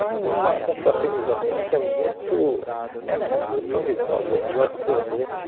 Além de uma confraternização que é muito é muito proveitosa. O negócio, a gente